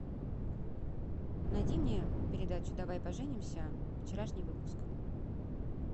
найди мне передачу давай поженимся вчерашний выпуск